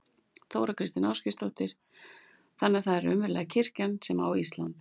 Þóra Kristín Ásgeirsdóttir: Þannig að það er raunverulega kirkjan sem á Ísland?